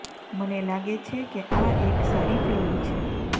મને લાગે છે કે આ એક સારી ફિલ્મ છે